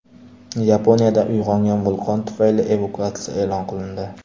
Yaponiyada uyg‘ongan vulqon tufayli evakuatsiya e’lon qilindi.